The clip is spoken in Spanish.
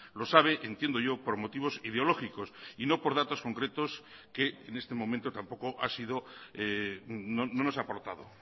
lo sabe entiendo yo por motivos ideológicos y no por datos concretos que en este momento tampoco ha sido no nos aportado